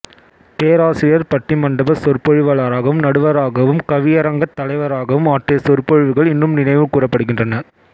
பேராசியர் பட்டிமண்டபச் சொற்பொழிவாளராகவும் நடுவராகவும் கவியரங்கத் தலைவராகவும் ஆற்றிய சொற்பொழிவுகள் இன்றும் நினைவு கூரப்படுகின்றன